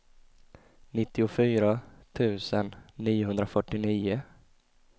nittiofyra tusen niohundrafyrtionio